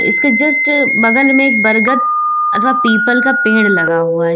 इसके जस्ट बगल में एक बरगद अथवा पीपल का पेड़ लगा हुआ है।